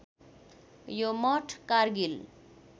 यो मठ कारगिल